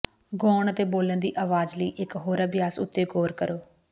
ਗਾਉਣ ਅਤੇ ਬੋਲਣ ਦੀ ਆਵਾਜ਼ ਲਈ ਇਕ ਹੋਰ ਅਭਿਆਸ ਉੱਤੇ ਗੌਰ ਕਰੋ